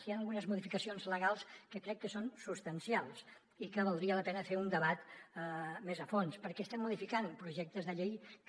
hi han algunes modificacions legals que crec que són substancials i que valdria la pena fer un debat més a fons perquè estem modificant projectes de llei que